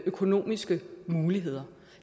økonomiske muligheder